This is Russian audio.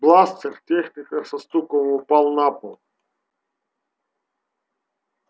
бластер техника со стуком упал на пол